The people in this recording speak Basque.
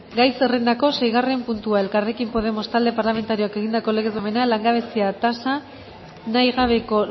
gaizerrendako seigarrena puntua elkarrekin podemos talde parlamentarioak egindako legez besteko proposamena langabezia tasa nahi gabeko